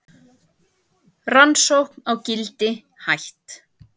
Rannsókn á Gildi hætt